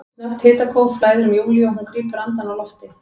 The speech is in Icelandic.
Snöggt hitakóf flæðir um Júlíu og hún grípur andann á lofti.